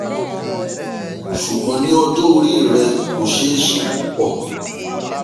ṣùgbọ́n ní ọjọ́ orí rẹ kò ṣe é ṣe púpọ̀